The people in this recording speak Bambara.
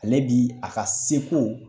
Ale bi a ka seko